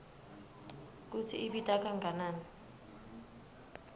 kutsi ibita kangakanani